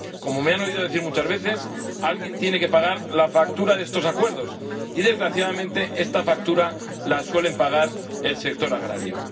Como me han oído decir muchas veces, alguien tiene que pagar la factura de estos acuerdos y, desgraciadamente, esta factura la suele pagar el sector agrario.